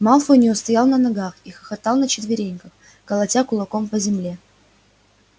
малфой не устоял на ногах и хохотал на четвереньках колотя кулаком по земле